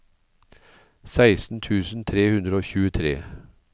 seksten tusen tre hundre og tjuetre